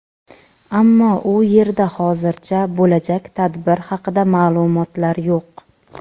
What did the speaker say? ammo u yerda hozircha bo‘lajak tadbir haqida ma’lumotlar yo‘q.